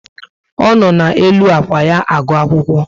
O no n'elu ákwà ya agụ akwụkwọ